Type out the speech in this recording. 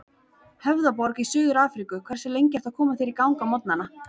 Höfðaborg í Suður-Afríku Hversu lengi ertu að koma þér í gang á morgnanna?